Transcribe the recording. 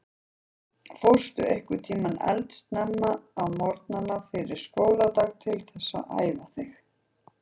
Fórstu einhvern tímann eldsnemma á morgnana fyrir skóladag til þess að æfa þig?